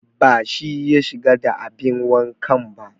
Ba shi ya shiga da abin wankan ba